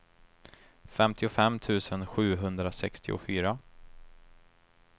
femtiofem tusen sjuhundrasextiofyra